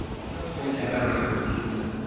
Heyston kədərlə gülümsündü.